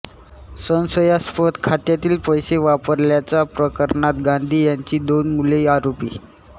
संशयास्पद खात्यातील पैसे वापरल्याच्या प्रकरणात गांधी यांची दोन मुलेही आरोपी